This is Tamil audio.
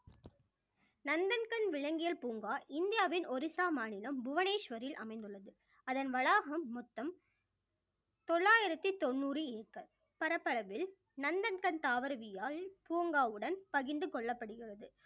நந்தன்கண் விலங்கியல் பூங்கா இந்தியாவின் ஒரிசா மாநிலம் புவனேஸ்வரில் அமைந்துள்ளது அதன் வளாகம் மொத்தம் தொள்ளாயிரத்தி தொண்ணூறு ஏக்கர் பரப்பளவில் நந்தன்கண் தாவரவியல் பூங்காவுடன் பகிர்ந்து கொள்ளப்படுகிறது